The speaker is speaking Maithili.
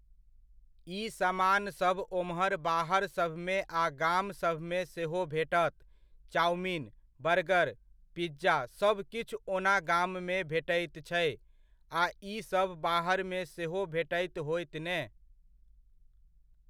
ई समानसभ ओम्हर बाहरसभमे आ गामसभमे सेहो भेटत। चाउमीन, बर्गर, पिज़्ज़ा सभकिछु ओना गाममे भेटैत छै, आ ईसभ बाहरमे सेहो भेटैत होयत ने?